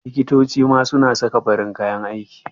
Liktoci ma su na saka farin kayan aiki